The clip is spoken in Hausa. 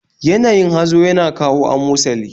Yanayin hazo yana kawo amosali